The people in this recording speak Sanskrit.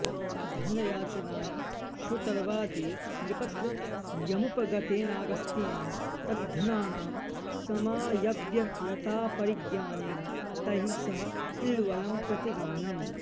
धनयाचनाय श्रुतर्वादिनृपत्रयमुपगतेनागस्त्येन तद्धनानां समायव्ययतापरिज्ञानेन तैःसह इल्वलं प्रति गमनम्